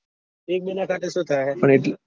એક બે ના કતા શું થાય